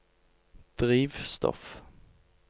drivstoff